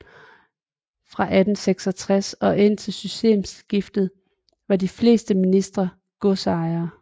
Fra 1866 og indtil systemskiftet var de fleste ministre godsejere